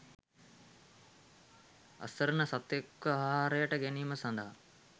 අසරණ සතෙක්ව අහාරයට ගැනීම සදහා